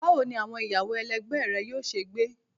Bawo ni awọn iyawo ẹlẹgbẹ rẹ yoo ṣe gbe?